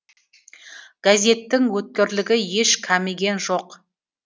газеттің өткірлігі еш кеміген жоқ